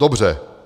Dobře.